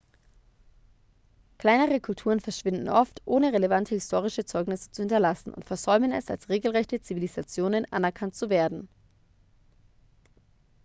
kleinere kulturen verschwinden oft ohne relevante historische zeugnisse zu hinterlassen und versäumen es als regelrechte zivilisationen anerkannt zu werden